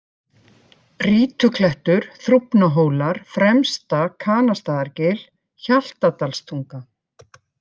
Rítuklettur, Þrúfnahólar, Fremsta-Kanastaðargil, Hjaltadalstunga